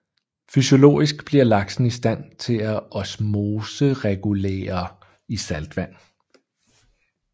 Fysiologisk bliver laksen i stand til at osmoregulere i saltvand